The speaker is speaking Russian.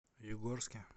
югорске